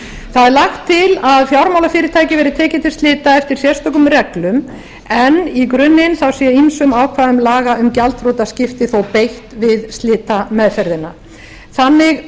er lagt til að fjármálafyrirtæki verði tekið til slita eftir sérstökum reglum en í grunninn sé ýmsum ákvæðum laga um gjaldþrotaskipti þó beitt um slitameðferðina þannig